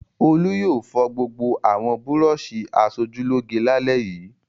Olú yóò fọ gbogbo àwọn búrọ́ṣì aṣojúlóge lálẹ́ yìí!